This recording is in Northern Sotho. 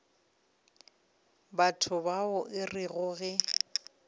batho bao e rego ge